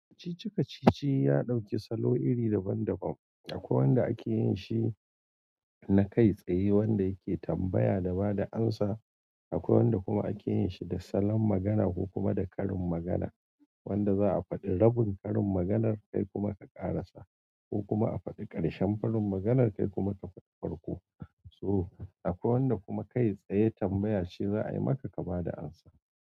Kacici-kacici ya ɗauki salo iri daban-daban. Akwai wanda ake yin shi na kai tsaye wanda yake tambaya da ba da amsa, akwai wanda kuma ake yin shi da salon magana ko kuma da karin magana wanda za'a faɗi rabin karin maganar kai kuma ka ƙarasa ko kuma a faɗi ƙarshen karin maganar kai kuma ka fadi farko. To akwai wanda kuma kai tsaye tambaya ce zaayi maka ka bada amsa.